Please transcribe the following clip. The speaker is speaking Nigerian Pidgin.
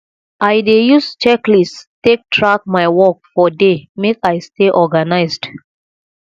i dey use checklists take track my work for day make i stay organized